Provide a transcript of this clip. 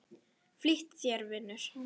Flýt þér, vinur!